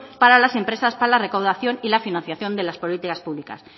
para las empresas para la recaudación y la financiación de las políticas públicas